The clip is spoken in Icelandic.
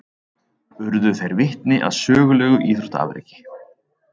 Urðu þeir vitni að sögulegu íþróttaafreki